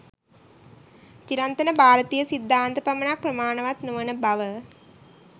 චිරන්තන භාරතීය සිද්ධාන්ත පමණක් ප්‍රමාණවත් නො වන බව